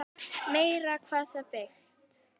Meira hvað það er byggt!